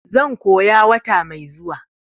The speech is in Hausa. zan koya wata mai zuwa.